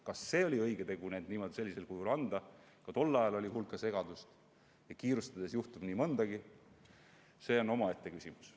Kas oli õige tegu need sellisel kujul anda – ka tol ajal oli hulka segadust ja kiirustades juhtub nii mõndagi –, on omaette küsimus.